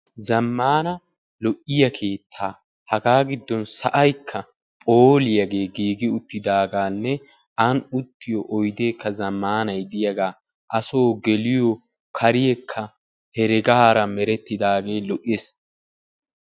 Zamaana lo'iya keettaa hagaa giddon sa'aykka pooliyaagee gigi uttidaagaanne an uttiyo oydee diyagaa ha so geliyo kareekka heregaara merettidaagee lo"ees.